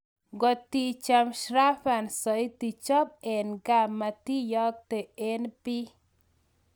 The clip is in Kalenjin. kotichame Shravan saiti, chop en ga, matiyakte en pii